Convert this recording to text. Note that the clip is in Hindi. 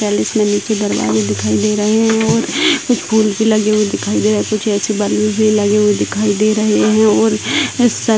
इसमे नीचे दरवाजे दिखाई दे रहे हैं कुछ स्कूल की लगी हुई दिखाई दे रहा है कुछ ऐसे बैलून्स भी लगे हुए दिखाई दे रहे है और सत --